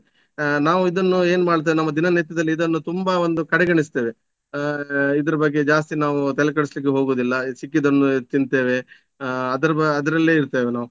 ಆ ನಾವು ಇದನ್ನು ಏನು ಮಾಡ್ತಿವಿ ನಮ್ಮ ದಿನನಿತ್ಯದಲ್ಲಿ ಇದನ್ನು ತುಂಬ ಒಂದು ಕಡೆಗೆಣಿಸ್ತೇವೆ. ಆ ಇದರ ಬಗ್ಗೆ ಜಾಸ್ತಿ ನಾವು ತೆಲೆಕೆಡ್ಸ್ಲಿಕ್ಕೆ ಹೋಗುದಿಲ್ಲ ಸಿಕ್ಕಿದನ್ನು ತಿಂತೇವೆ ಅದರ ಅದರಲ್ಲೇ ಇರ್ತೇವೆ ನಾವು.